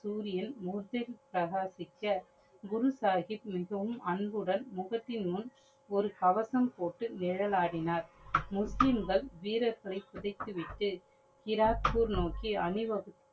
சூரியன் மோசே தகாசிக்க குரு சாஹிப் மிகவும் அன்புடன் முகத்தின் முன் ஒரு கவசம் போட்டு நிழலாடினார். முஸ்லிம்கள் வீரர்களை பிடித்துவிட்டு கிராக்பூர் நோக்கி அணிவகுப்பு